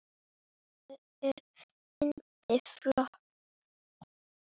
Það er fyndið fólk.